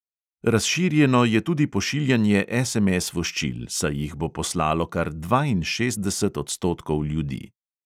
Razširjeno je tudi pošiljanje SMS voščil, saj jih bo poslalo kar dvainšestdeset odstotkov ljudi.